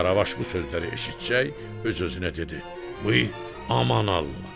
Qaravaş bu sözləri eşitsəcək öz-özünə dedi: Ay, aman Allah!